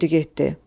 Hara qoydu getdi?